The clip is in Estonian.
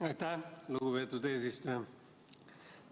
Aitäh, lugupeetud eesistuja!